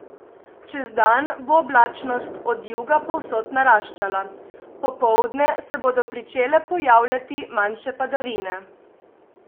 Čez dan bo oblačnost od juga povsod naraščala, popoldne se bodo pričele pojavljati manjše padavine.